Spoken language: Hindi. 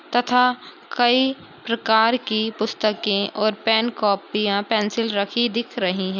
तथा कई प्रकार की पुस्तकें और पेन कॉपियाँ पेंसिल रखी दिख रहीं हैं।